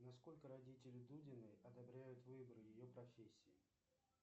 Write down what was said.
насколько родители дудиной одобряют выбор ее профессии